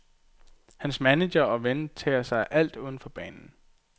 Hans manager og ven tager sig af alt udenfor banen.